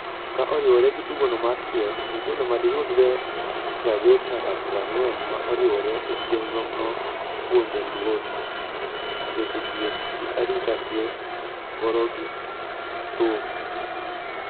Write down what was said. ka oriwore gi tugono mar kier, nyithindo madiyudre 30 nyaka 40 ma oriwore e chenro no ipuonjo luor, weche thieth gi arita kwe, gorogithum